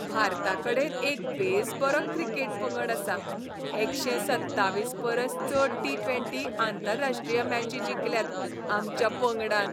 भारताकडेन एक बेसबरो क्रिकेट पंगड आसा. एकशे सत्तावीस परस चड टी ट्वेंटी आंतरराश्ट्रीय मॅची जिखल्यात आमच्या पंगडान.